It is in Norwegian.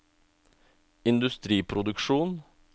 industriproduksjon